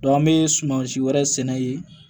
an bɛ sumansi wɛrɛ sɛnɛ yen